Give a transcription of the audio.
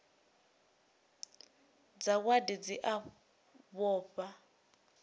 dza wadi dzi a vhofha